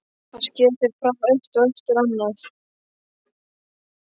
Hann sker þau frá eitt eftir annað.